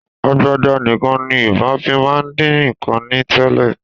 Agbada nìkan ni Yorùbá fi máa ń dín nǹkan ní tẹ́lẹ̀